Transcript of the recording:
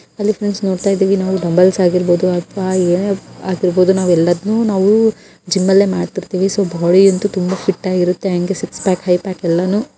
hello friends ನಾವು ನೋಡ್ತಾಯಿದ್ದೇವೆ dumbbells ಆಗಿರ್ಬಹುದು ಅಥವಾ ಏನೋ ಆಗಿರ್ಬಹುದು ನಾವು ಎಲ್ಲದ್ನನು ನಾವು ಜಿಮಲ್ಲೇ ಮಾಡ್ತಿರ್ತೀವಿ ಸೊ ಬಾಡಿ ಅಂತೂ ತುಂಬಾ ಫಿಟ್ ಆಗಿ ಇರುತ್ತೆ ಹಂಗೆ ಸಿಕ್ಸ್ ಪ್ಯಾಕ್ ಫೈವ್ ಪ್ಯಾಕ್ ಎಲ್ಲಾನು--